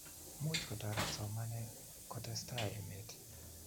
much kotoret somanee kutestaai emet